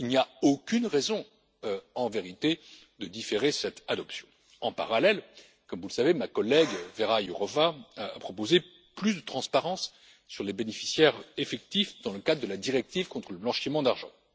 Il n'y a aucune raison en vérité de différer cette adoption. En parallèle, comme vous le savez, ma collègue, Vera Jourová, a proposé plus de transparence sur les bénéficiaires effectifs dans le cadre de la directive contre le blanchiment d'argent.